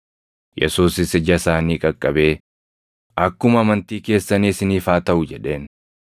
Yesuusis ija isaanii qaqqabee, “Akkuma amantii keessanii isiniif haa taʼu” jedheen.